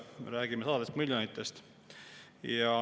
Me räägime sadadest miljonitest.